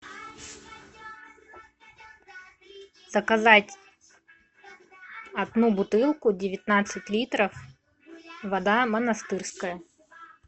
заказать одну бутылку девятнадцать литров вода монастырская